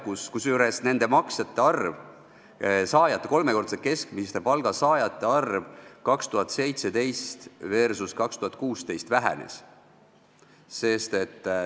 Kusjuures kolmekordse keskmise palga saajate arv 2017 versus 2016 vähenes.